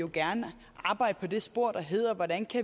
gerne arbejde på det spor der hedder hvordan